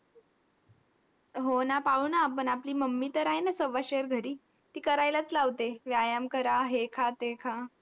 हो ना पाळू ना आपण. आपली mummy तर आहे ना सव्वाशेर घरी. ती करायलाच लावते. व्यायाम करा, हे खा, ते खा.